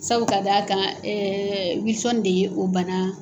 Sabu k'a d'a kan Wilson de ye o bana